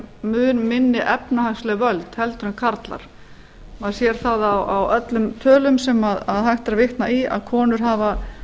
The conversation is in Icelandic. mun minni efnahagsleg völd heldur en karlar maður sér það á öllum tölum sem hægt er að vitna í að konur hafa